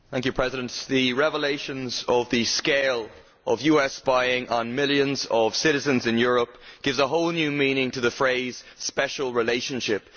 Mr President, the revelations of the scale of US spying on millions of citizens in Europe give a whole new meaning to the term special relationship'.